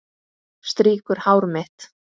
Strýkur hár mitt.